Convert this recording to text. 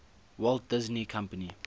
walt disney company